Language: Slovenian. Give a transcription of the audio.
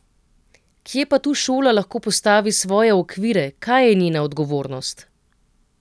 Kje pa tu šola lahko postavi svoje okvire, kaj je njena odgovornost?